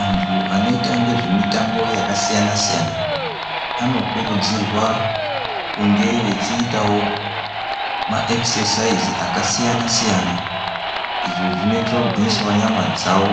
Antu anoita nezvemitambo yakasiyana saiyana anokurudzirwa kunge eitawo maExercise akasiyana siyana izvo zvinoita kugwinyisa nyama dzavo